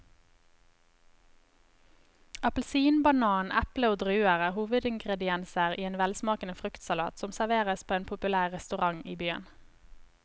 Appelsin, banan, eple og druer er hovedingredienser i en velsmakende fruktsalat som serveres på en populær restaurant i byen.